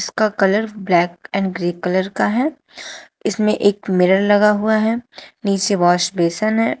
इनका colour black and grey colour का है इसमें एक मिरर लगा हुआ है निचे वॉश बेसिन है।